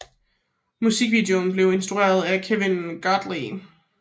Musikvideoen blev instrueret af Kevin Godley